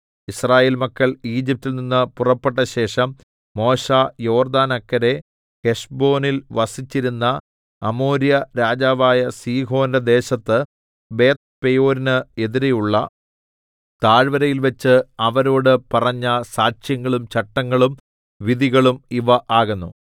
യിസ്രായേൽ മക്കൾ ഈജിപ്റ്റിൽ നിന്ന് പുറപ്പെട്ടശേഷം മോശെ യോർദ്ദാന് അക്കരെ ഹെശ്ബോനിൽ വസിച്ചിരുന്ന അമോര്യ രാജാവായ സീഹോന്റെ ദേശത്ത് ബേത്ത്പെയോരിന് എതിരെയുള്ള താഴ്വരയിൽവച്ച് അവരോട് പറഞ്ഞ സാക്ഷ്യങ്ങളും ചട്ടങ്ങളും വിധികളും ഇവ ആകുന്നു